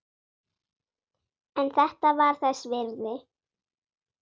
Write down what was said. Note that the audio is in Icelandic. En þetta var þess virði.